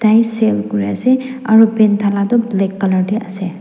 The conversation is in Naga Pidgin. Tai sell kuriase aro paint thala toh black colour tae ase.